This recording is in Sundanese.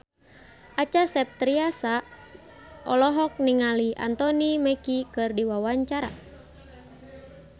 Acha Septriasa olohok ningali Anthony Mackie keur diwawancara